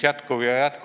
Aitäh, austatud juhataja!